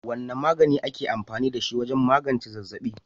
Wane magani ake amfani da shi wajen magance zazzaɓi?